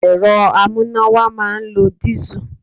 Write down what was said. Ẹ̀rọ amúnáwá máa ń lo dìísù.